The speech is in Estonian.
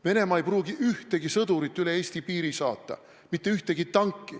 Venemaa ei pruugi üle Eesti piiri saata mitte ühtegi sõdurit, mitte ühtegi tanki.